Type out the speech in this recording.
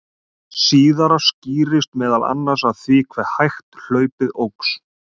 Hið síðara skýrist meðal annars af því hve hægt hlaupið óx.